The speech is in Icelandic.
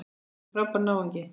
Hann er frábær náungi.